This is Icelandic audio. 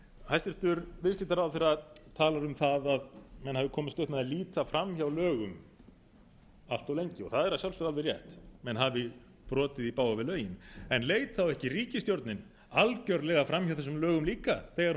hæstvirtur viðskiptaráðherra talar um það að menn hafi komist upp með að líta fram hjá lögum allt of lengi það er að sjálfsögðu alveg rétt menn hafi brotið í bága við lögin en leit þá ekki ríkisstjórnin algjörlega fram hjá þessum lögum líka þegar hún